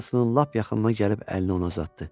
Nikolson lap yaxınına gəlib əllini ona uzatdı.